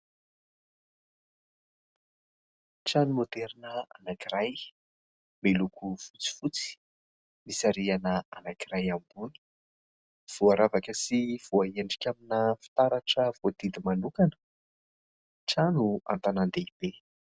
Trano maoderina anankiray miloko fotsifotsy, misy rihana anankiray ambony. Voaravaka sy voaendrika amina fitaratra voadidy manokana, trano an-tanàn-dehibe.